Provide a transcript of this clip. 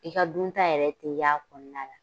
I ka dunta yɛrɛ ten y'a kɔnɔna la